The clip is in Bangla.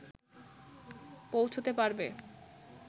পৌঁছতে পারবে